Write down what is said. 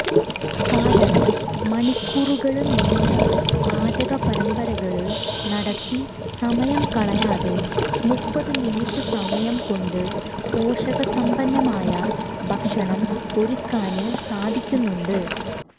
കാരണം മണിക്കൂറുകള് നീണ്ട പാചകപരമ്പരകള് നടത്തി സമയം കളയാതെ മുപ്പതു മിനിറ്റ് സമയം കൊണ്ട് പോഷകസമ്പന്നമായ ഭക്ഷണം ഒരുക്കാന് സാധിക്കുന്നുണ്ട്